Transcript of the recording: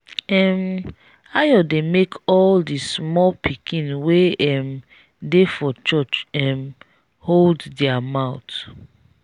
um ayo dey make all the small pikin wey um dey for church um hold their mouth